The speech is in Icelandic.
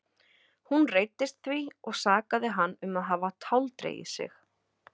Hún reiddist því og sakaði hann um að hafa táldregið sig.